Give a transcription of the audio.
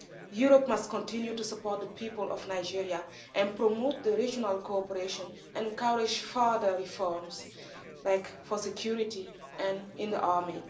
Europe must continue to support the people of Nigeria and promote the regional cooperation and encourage further reforms like for security and in the army.